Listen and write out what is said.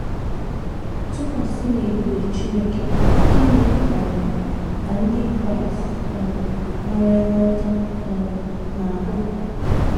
Tụkwasị n’ebube Chineke, gịnị um ka ndị Kraịst um nwere nghọta um na - ahụ?